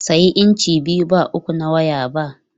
Sayi inci biyu ba uku na waya ba!